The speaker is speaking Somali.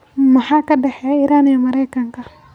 Maxaa ka dhexeeya Iran iyo Maraykanka?